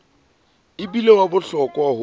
e bile wa bohlokwa ho